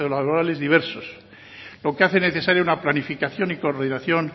socio laborales diversos lo que hace necesario una planificación y coordinación